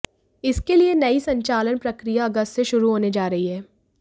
इसके लिए नयी संचालन प्रक्रिया अगस्त से शुरू होने जा रही है